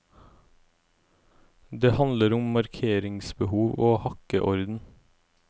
Det handler om markeringsbehov og hakkeorden.